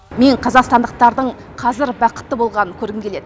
мен қазақстандықтардың қазір бақытты болғанын көргім келеді